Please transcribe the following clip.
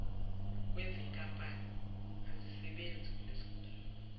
wezinkampani azisebenzi kulesigungu